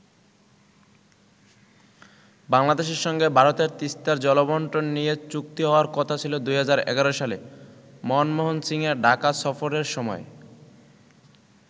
বাংলাদেশের সঙ্গে ভারতের তিস্তার জলবন্টন নিয়ে চুক্তি হওয়ার কথা ছিল ২০১১ সালে মনমোহন সিংয়ের ঢাকা সফরের সময়ে।